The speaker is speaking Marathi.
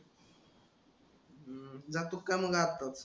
जातो का मग आताच?